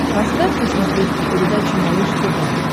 поставь на смотрешке передачу малыш тв